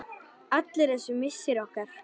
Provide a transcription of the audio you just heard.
Allur þessi missir okkar.